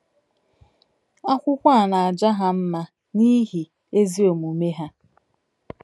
Akwụkwọ a na-aja ha mma n’ihi “ ezi omume ha. ”